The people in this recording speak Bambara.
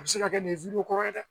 A bɛ se ka kɛ nin kɔrɔ ye dɛ